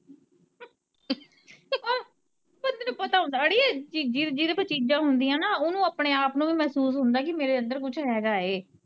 ਬੰਦੇ ਨੂੰ ਪਤਾ ਹੁੰਦਾ, ਅੜੀਏ ਜੀ, ਜਿਦੇ ਕੋ ਚੀਜਾਂ ਹੁੰਦੀਆ ਨਾ ਓੁਨੂੰ ਆਪਣੇ ਆਪ ਨੂੰ ਵੀ ਮਹਿਸੂਸ ਹੁੰਦਾ ਕਿ ਮੇਰੇ ਅੰਦਰ ਕੁੱਝ ਹੈਗਾ ਏ।